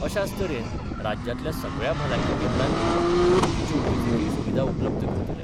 अशाच तरेन राज्यांतल्या सगळ्या भलायकी केंद्रानी गरजेच्यो वैजकीय सुविधा उपलब्ध करतले.